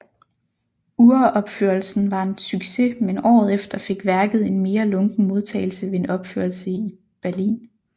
Uropførelsen var en succes men året efter fik værket en mere lunken modtagelse ved en opførelse i Berlin